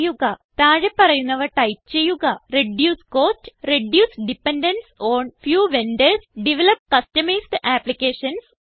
താഴെ പറയുന്നവ ടൈപ്പ് ചെയ്യുക reduce cost reduce dependence on few vendors develop customised applications